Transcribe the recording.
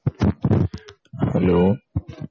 hello